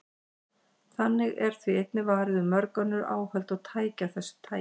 Þannig er því einnig varið með mörg önnur áhöld og tæki af þessu tagi.